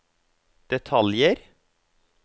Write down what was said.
detaljer